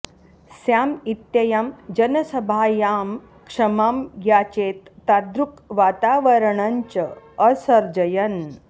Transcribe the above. Sam इत्ययं जनसभायां क्षमां याचेत तादृक् वातावरणं च असर्जयन्